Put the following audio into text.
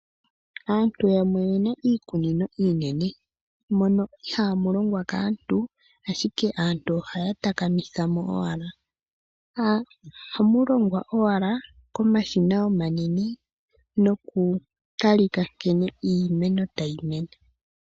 Aantu yamwe oye na iikunino iinene mono ihaamu longwa kaantu, ashike aantu ohaya takamitha mo owala. Ohamu longwa owala komashina omanene nokutalika owala nkene iimeno tayi mene.